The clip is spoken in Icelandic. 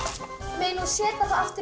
megið nú setja það aftur í